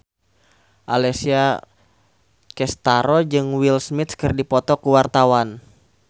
Alessia Cestaro jeung Will Smith keur dipoto ku wartawan